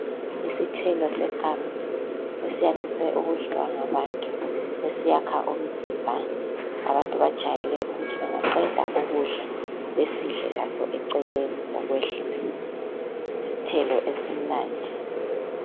Isithelo seganga esiyandise ukudliwa ngabantu esiyakha umzimba abantu bajayele ukuthi bengaqeda ukudla besidle laso eceleni ukwehlisa isithelo esimnandi.